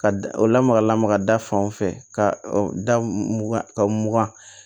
Ka da o lamaga lamaga da fan o fɛ ka da mugan ka mugan